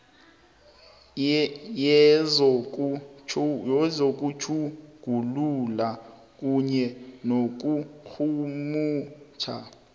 yezokutjhugulula kunye nokurhumutjha